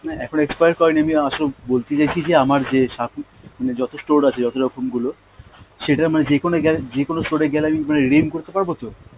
না এখন expire করেনি, আমি আসল বলতে চাইছি যে আমার যে মানে যত store আছে যত রকম গুলো, সেটা মানে যেকোনো গেলে যেকোনো store এ গেলে আমি মানে redeem করতে পারবো তো?